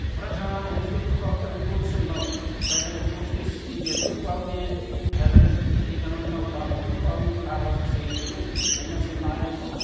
бірақ жаңағы өзге түркі халықтарының көбісі мынау қазіргі көршілес елдердің ықпалымен қазіргі экономикалық дамудың ықпалымен тағы басқа себептермен ол нәрседен айырылып қалған